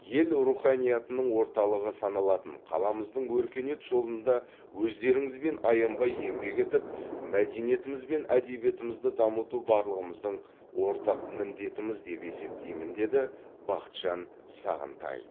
ел руханиятының орталығы саналатын қаламыздың өркениет жолында өздеріңізбен аянбай еңбек етіп мәдениетіміз бен әдебиетімізді дамыту барлығымыздың ортақ міндетіміз деп есептеймін деді бақытжан сағынтаев